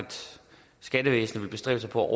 skattevæsenet vil bestræbe sig på at